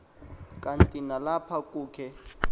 kanti nalapha kukhe